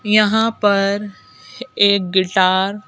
यहां पर एक गिटार --